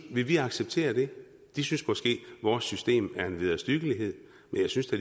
vi ville acceptere det de synes måske at vores system er en vederstyggeliged men jeg synes da